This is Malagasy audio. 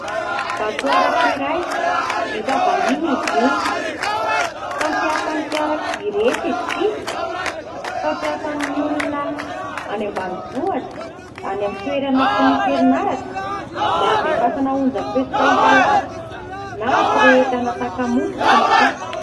Vatoaratra iray vita vahiny izy io fampiasan'ny fiarakodia rehetra izy ity. Fampiasan'ny olona any ambanivohitra, any amin'ny toerana tsy misy herinaratra mba handefasana onjampeo sy fahitalavitra na hampirehetana takamoa sy ny sisa.